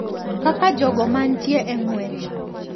Kaka jogo mantie e ng`wech.